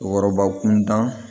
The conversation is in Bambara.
Wɔrɔba kun da